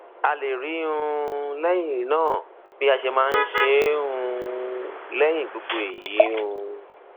a lè rí i um lẹyìn náà bí a ṣe máa ṣe um é lẹyìn gbogbo èyí um